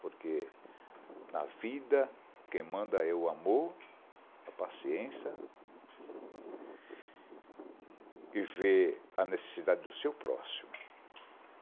Porque na vida quem manda é o amor, a paciência e ver a necessidade do seu próximo.